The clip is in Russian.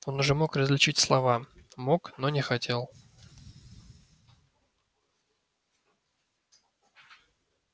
он уже мог различить слова мог но не хотел